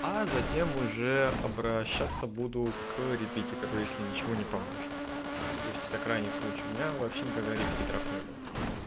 а затем уже обращаться буду к репетитору если ничего не поможет то есть это крайний случай у меня вообще никогда репетиторов не было